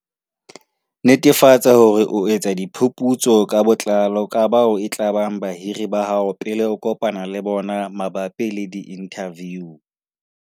Netefatsa hore o etsa diphuputso ka botlalo ka bao e tlabang bahiri ba hao pele o kopana le bona mabapi le diinthaviu.